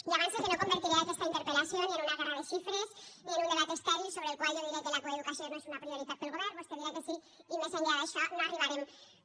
ja avance que no convertiré aquesta interpel·lació ni en una guerra de xifres ni en un debat estèril sobre el qual jo diré que la coeducació no és una prioritat per al govern vostè dirà que sí i més enllà d’això no arribarem